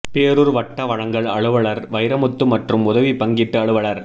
பேரூர் வட்ட வழங்கல் அலுவலர் வைரமுத்து மற்றும் உதவி பங்கீட்டு அலுவலர்